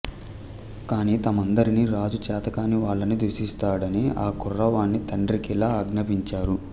కాని తమ్మందరినీ రాజు చేతకాని వాళ్ళని దూషిస్తాడని ఆకుర్రవాని తండ్రికిలా ఆజ్ఞాపించారు